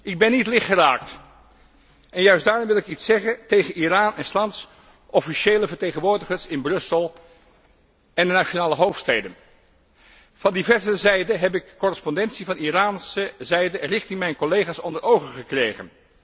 Ik ben niet lichtgeraakt, en juist daarom wil ik iets zeggen tegen Iran en 's lands officiële vertegenwoordigers in Brussel en de nationale hoofdsteden. Van diverse zijden heb ik correspondentie van Iran aan mijn collega's onder ogen gekregen.